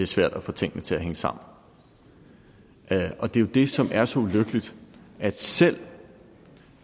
svært at få tingene til at hænge sammen og det er jo det som er så ulykkeligt altså at